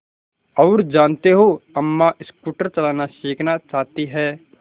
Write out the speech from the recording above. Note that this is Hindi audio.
और जानते हो अम्मा स्कूटर चलाना सीखना चाहती हैं